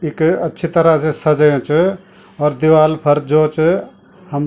इक अच्छी तरह से सजयुँ च और दिवाल फर जो च हम --